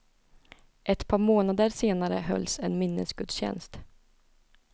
Ett par månader senare hölls en minnesgudtjänst.